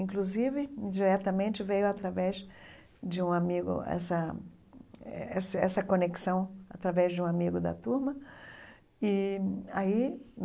Inclusive, indiretamente veio através de um amigo essa essa essa conexão através de um amigo da turma e aí.